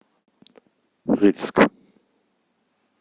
рыльск